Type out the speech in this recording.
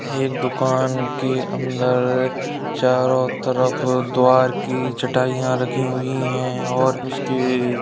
एक दुकान के अंदर चारों तरफ द्वार की चटाइयाँ रखी हुई हैं। और उसके --